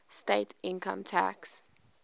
state income tax